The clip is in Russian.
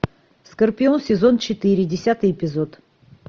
скорпион сезон четыре десятый эпизод